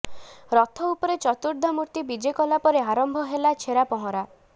ରଥ ଉପରେ ଚତୁର୍ଦ୍ଧା ମୂର୍ତ୍ତି ବିଜେ କଲା ପରେ ଆରମ୍ଭ ହେଲା ଛେରାପହଁରା